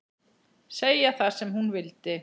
Segja það sem hún vildi.